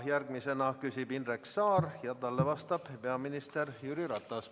Järgmisena küsib Indrek Saar ja talle vastab peaminister Jüri Ratas.